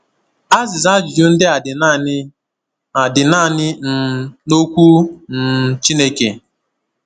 Azịza ajụjụ ndị a dị naanị a dị naanị um n’okwu um Chineke.